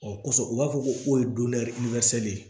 Ɔ kosɔn u b'a fɔ ko ye de ye